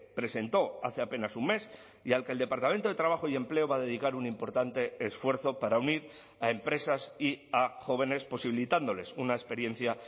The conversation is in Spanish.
presentó hace apenas un mes y al que el departamento de trabajo y empleo va a dedicar un importante esfuerzo para unir a empresas y a jóvenes posibilitándoles una experiencia